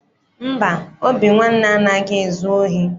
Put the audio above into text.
Mba, Obinwanne anaghị ezu ohi.